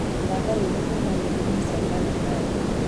thaka rwĩmbo kũma nyĩmboini cia kale kali